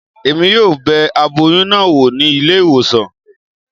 Emi yóò bẹ aboyún náà wò ní ilé ìwòsàn